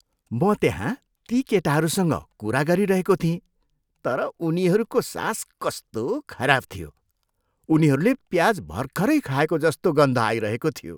म त्यहाँ ती केटाहरूसँग कुरा गरिरहेको थिएँ तर उनीहरूको सास कस्तो खराब थियो। उनीहरूले प्याज भर्खरै खाएको जस्तो गन्ध आइरहेको थियो।